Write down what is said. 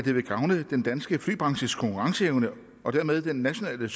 at det vil gavne den danske flybranches konkurrenceevne og dermed den nationale